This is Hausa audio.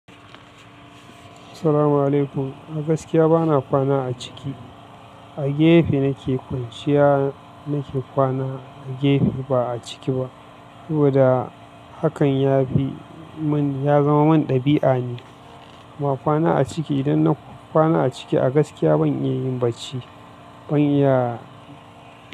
Assalamu alaikum. A gaskiya bana kwana a ciki. A gefe nake kwanciya, nake kwana a gefe ba a ciki ba. Saboda hakan ya bi mun, ya zama mun ɗabi'a ne. Ba kwana a ciki. Idan na kwana a ciki a gaskiya ban iya yin bacci. Ban iya.